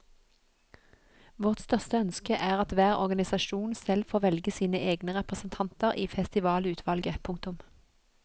Vårt største ønske er at hver organisasjon selv får velge sine egne representanter i festivalutvalget. punktum